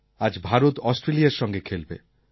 আজ ভারত অস্ট্রেলিয়ার সঙ্গে খেলবে